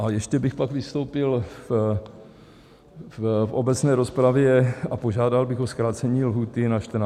A ještě bych pak vystoupil v obecné rozpravě a požádal bych o zkrácení lhůty na 14 dní.